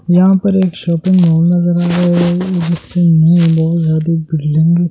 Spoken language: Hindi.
यहां पर शॉपिंग मॉल नजर आ रहा है जिसमें लोग बिल्डिंग --